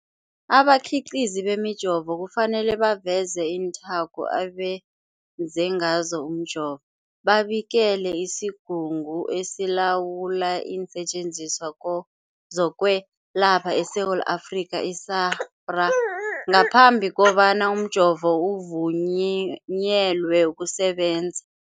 Abakhiqizi bemijovo kufanele baveze iinthako abenze ngazo umjovo, babikele isiGungu esiLawula iinSetjenziswa zokweLapha eSewula Afrika, i-SAHPRA, ngaphambi kobana umjovo uvunyelwe ukusebenza.